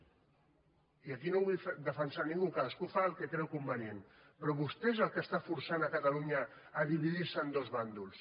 i aquí no vull defensar ningú cadascú fa el que creu convenient però vostè és qui està forçant catalunya a dividir se en dos bàndols